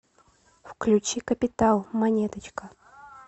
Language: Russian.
включи капитал монеточка